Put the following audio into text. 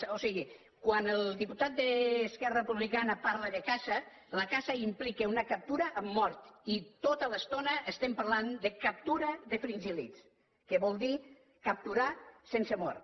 o sigui quan el diputat d’esquerra republicana parla de caça la caça implica una captura amb mort i tota l’estona estem parlant de captura de fringíl·lids que vol dir capturar sense mort